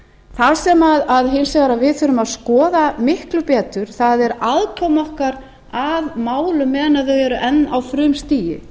það sem hins vegar við þurfum að skoða miklu betur er aðkoma okkar að málum meðan þau eru enn á frumstigi